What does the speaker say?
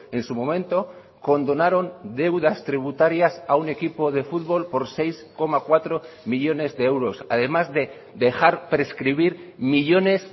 en su momento condonaron deudas tributarias a un equipo de fútbol por seis coma cuatro millónes de euros además de dejar prescribir millónes